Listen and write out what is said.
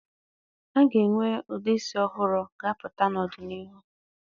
A ga-enwe ụdị isi ọhụrụ ga-apụta n'ọdịnihu